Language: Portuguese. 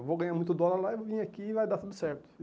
Eu vou ganhar muito dólar lá e vou vim aqui e vai dar tudo certo.